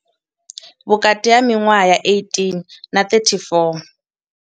Vhukati ha miṅwaha ya 18 na 34.